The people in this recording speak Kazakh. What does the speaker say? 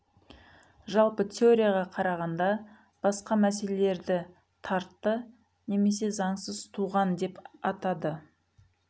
жалпы теорияға қарағанда басқа мәселелерді тартты немесе заңсыз туған деп атады